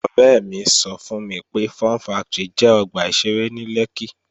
Ọ̀rẹ́ mi sọ fún mi pé, Fun factory jẹ́ ọgbà ìṣeré ní Lẹ́kkí